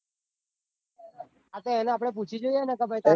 હા તો એને આપડે પૂછી જોઈએ ને કે પાહિ